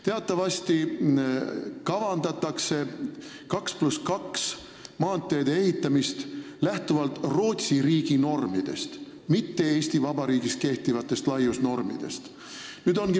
Teatavasti kavandatakse maanteedel 2 + 2 rea ehitamist lähtuvalt Rootsi riigi normidest, mitte Eesti Vabariigis kehtivatest laiusnormidest.